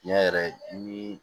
Tiɲɛ yɛrɛ ni